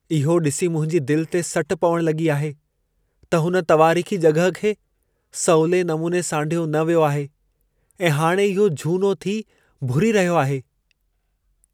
इहो ॾिसी मुंहिंजी दिल ते सट पवण लॻी आहे त हुन तवारीख़ी जॻहि खे सवले नमूने सांढियो न वियो आहे ऐं हाणि इहो झूनो थी भुरी रहियो आहे।